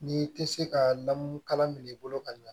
N'i tɛ se ka lamunkalan minɛ i bolo ka ɲa